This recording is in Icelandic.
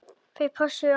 Þau pössuðu á mig.